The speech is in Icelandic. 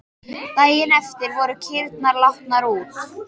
Daginn eftir voru kýrnar látnar út.